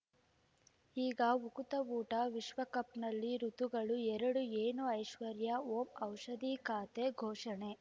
ಈಗ ಉಕುತ ಊಟ ವಿಶ್ವಕಪ್‌ನಲ್ಲಿ ಋತುಗಳು ಎರಡು ಏನು ಐಶ್ವರ್ಯಾ ಓಂ ಔಷಧಿ ಖಾತೆ ಘೋಷಣೆ